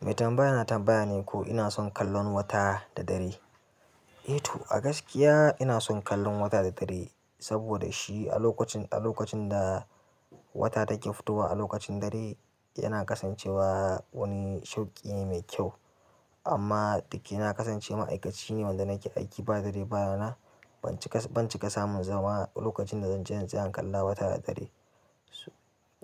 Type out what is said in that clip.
Mai tambaya na tambaya ne ko ina son kallon wata da dare? Eh to, a gaskiya ina son kallon wata da dare. Saboda shi a lokacin, a lokacin da. Wata take fitowa a lokacin dare yana kasancewa wani shauƙi ne mai kyau. Amma ɗake na kasance ma'aikaci ne wanda nake aiki ba dare ba rana. Ban cika, ban cika samun zama lokacin da zan je zan tsaya in kalla wata da dare.